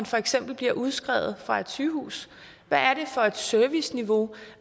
for eksempel bliver udskrevet fra et sygehus hvad er det for et serviceniveau